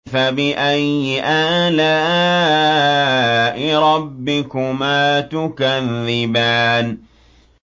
فَبِأَيِّ آلَاءِ رَبِّكُمَا تُكَذِّبَانِ